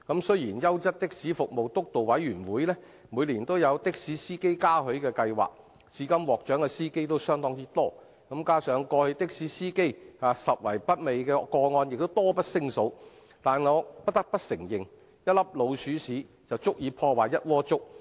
雖然優質的士服務督導委員會每年舉辦的士司機嘉許計劃，至今獲獎的司機相當多，加上過去的士司機拾遺不昧的個案亦多不勝數，但我不得不承認，一顆老鼠糞便足以毀掉整鍋粥。